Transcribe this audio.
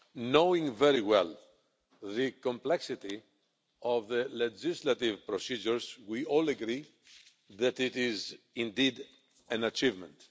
Knowing very well the complexity of the legislative procedures, we all agree that it is indeed an achievement.